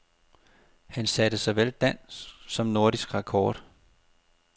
Han satte såvel dansk som nordisk rekord.